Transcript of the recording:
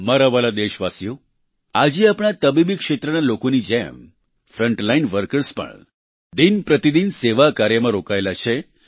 મારા વહાલા દેશવાસીઓ આજે આપણા તબીબી ક્ષેત્રના લોકોની જેમ ફ્રન્ટલાઇન વર્કર્સ પણ દિનપ્રતિદિન સેવા કાર્યમાં રોકાયેલા છે